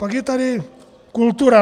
Pak je tady kultura.